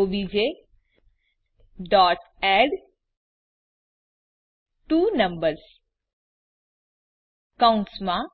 objએડટ્વોનંબર્સ કૌંસમાં